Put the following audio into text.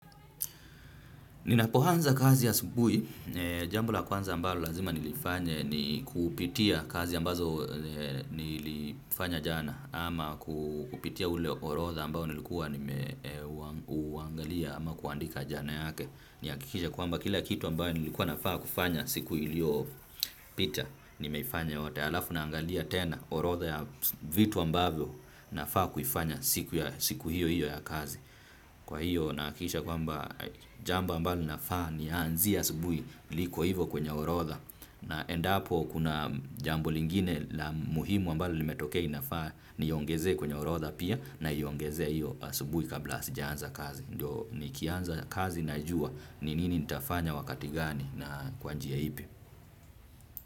Ninapoanza kazi asubuhi, jambo la kwanza ambalo lazima nilifanye ni kupitia kazi ambazo nilifanya jana ama kupitia ule orodha ambao nilikuwa nimeuangalia ama kuandika jana yake. Nihakikishe kwamba kila kitu ambayo nilikuwa nafaa kufanya siku iliyopita nimeifanya yote. Alafu naangalia tena orodha ya vitu ambavyo nafaa kufanya siku hiyo hiyo ya kazi. Kwa hiyo nahakikisha kwamba jambo ambalo nafaa nianzie asubuhi liko hivo kwenye orodha na endapo kuna jambo lingine la muhimu ambalo limetokea nafaa niongezee kwenye orodha pia naiongezea hio asubuhi kabla sijaanza kazi. Ndio nikianza kazi najua ni nini nitafanya wakati gani na kwa njia ipi.